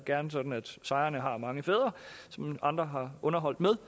gerne sådan at sejrene har mange fædre som andre har underholdt med